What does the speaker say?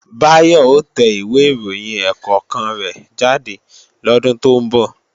Báyọ̀ ó tẹ ìwé ìròyìn ẹ̀ẹ̀kọ̀kan rẹ̀ jáde lọ́dún tó ń bọ̀